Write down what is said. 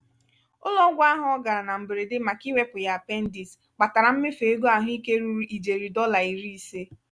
ụlọ-ọgwụ ahụ ọ gara na mberede màkà iwepụ ya apendis kpatara mmefu ego ahụike ruru ijeri dọla iri ise.